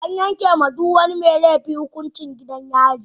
An yanke wa duk wani mai laifi hukuncin gidan yari.